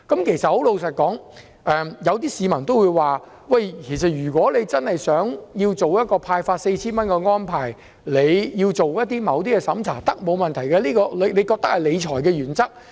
老實說，有些市民也說，如果政府真的想做到派發 4,000 元的安排，因而要進行一些審查，沒有問題，因為政為認為這是理財原則。